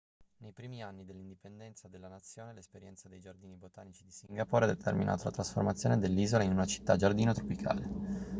nei primi anni dell'indipendenza della nazione l'esperienza dei giardini botanici di singapore ha determinato la trasformazione dell'isola in una città-giardino tropicale